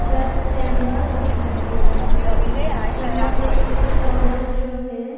Church symbols दिखाई दे रहा है यहां पे एक औरत जो है।